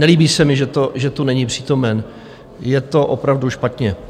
Nelíbí se mi, že tu není přítomen, je to opravdu špatně.